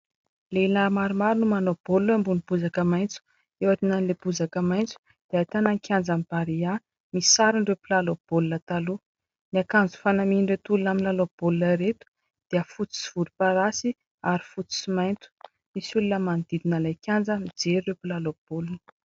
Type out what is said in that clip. Lehilahy maromaro no manao baolina ambony bozaka maitso. Eo aorinan'ilay bozaka maitso dia ahitana kianjan'ny Barea, misy sarin'ireo mpilalao baolina taloha. Ny akanjo fanamian'ireto olona milalao baolina reto dia fotsy sy volomparasy ary fotsy sy mainty. Misy olona manodidina ilay kianja mijery ireo mpilalao baolina.